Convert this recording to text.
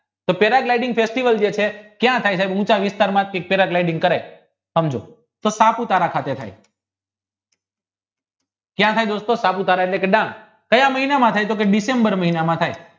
ક્યાં થઈ છે ઉંચા વિસ્તારમાં કરે સમજો તો સાપુતારા ખાતર થયા ક્યાં થઈ સાપુતારા એટલે ગામ કાયા મહિનામાં થાય તો કી ડિસેમ્બર થાય